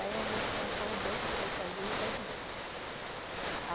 Aí a gente concordou que fosse azul e vermelho.